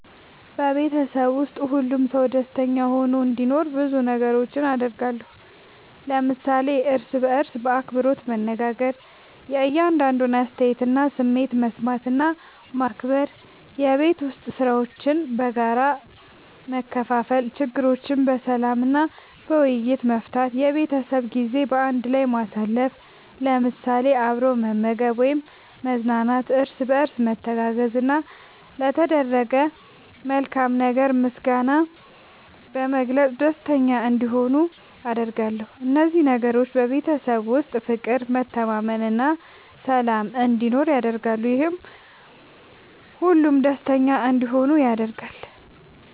በቤተሰቤ ውስጥ ሁሉም ሰው ደስተኛ ሆኖ እንዲኖር ብዙ ነገሮችን አደርጋለሁ።። ለምሳሌ፦ እርስ በርስ በአክብሮት መነጋገር። የእያንዳንዱን አስተያየትና ስሜት መስማት እና ማክበር፣ የቤት ዉስጥ ሥራዎችን በጋራ መከፋፈል፣ ችግሮችን በሰላም እና በውይይት መፍታት፣ የቤተሰብ ጊዜ በአንድ ላይ ማሳለፍ ለምሳሌ፦ አብሮ መመገብ ወይም መዝናናት፣ እርስ በርስ መተጋገዝ፣ እና ለተደረገ መልካም ነገር ምስጋና በመግለጽ ደስተኛ እንዲሆኑ አደርጋለሁ። እነዚህ ነገሮች በቤተሰብ ውስጥ ፍቅር፣ መተማመን እና ሰላም እንዲኖር ያደርጋሉ፤ ይህም ሁሉም ደስተኛ እንዲሆኑ ያደርጋል።